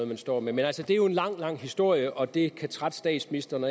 man står med men det er jo en lang lang historie og det kan trætte statsministeren